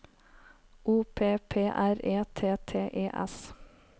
O P P R E T T E S